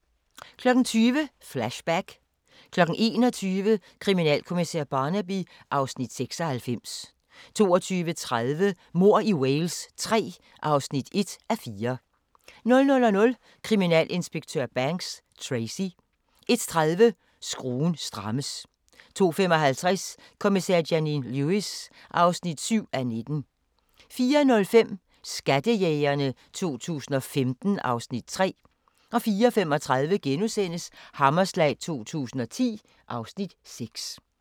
20:00: Flashback 21:00: Kriminalkommissær Barnaby (Afs. 96) 22:30: Mord i Wales III (1:4) 00:00: Kriminalinspektør Banks: Tracy 01:30: Skruen strammes 02:55: Kommissær Janine Lewis (7:19) 04:05: Skattejægerne 2015 (Afs. 3) 04:35: Hammerslag 2010 (Afs. 6)*